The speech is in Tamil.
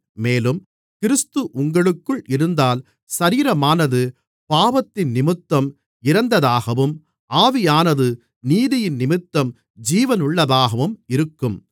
மேலும் கிறிஸ்து உங்களுக்குள் இருந்தால் சரீரமானது பாவத்தினிமித்தம் இறந்ததாகவும் ஆவியானது நீதியினிமித்தம் ஜீவனுள்ளதாகவும் இருக்கும்